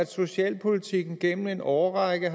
socialpolitikken gennem en årrække